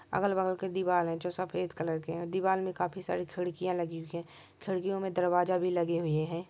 अगल बगल के दीवाल है जो सफेद कलर कि है दीवाल मे काफी सारी खिड़किया लगी हुई है खिडकियों में दरवाजा भी लगे हुईहै।